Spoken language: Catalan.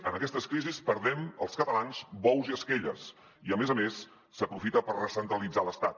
en aquestes crisis perdem els catalans bous i esquelles i a més a més s’aprofita per recentralitzar l’estat